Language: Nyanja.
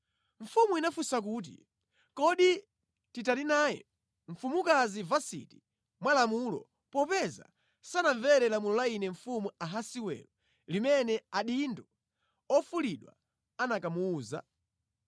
Mfumu inafunsa kuti, “Kodi titani naye mfumukazi Vasiti mwa lamulo, popeza sanamvere lamulo la ine mfumu Ahasiwero limene adindo ofulidwa anakamuwuza?”